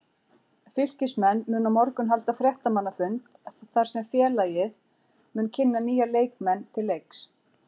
Fylkismenn munu á morgun halda fréttamannafund þar sem félagið mun kynna nýja leikmenn til leiks.